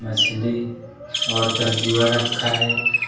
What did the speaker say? मछली और तरजुआ रखा है।